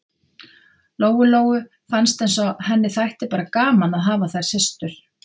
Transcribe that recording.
Lóu-Lóu fannst eins og henni þætti bara gaman að hafa þær systur.